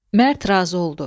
Mərd razı oldu.